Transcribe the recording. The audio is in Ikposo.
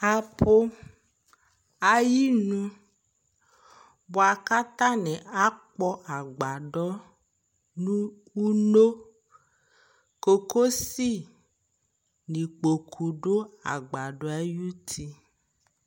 Apʋ ayinu bʋa kʋ atanɩ akpɔ agbadɔ nʋ uno Kokosi nʋ ikpoku dʋ agbadɔ yɛ ayuti